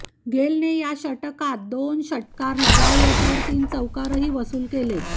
गेलने या षटकात दोन षटकार लगावले तर तीन चौकारही वसूल केले